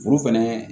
Furu fɛnɛ